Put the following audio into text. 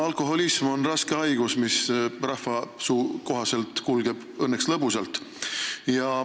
Alkoholism on raske haigus, mis rahvasuu ütluse kohaselt õnneks kulgeb lõbusalt.